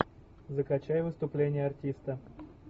закачай выступление артиста